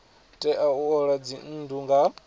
tea u ola dzinnu nga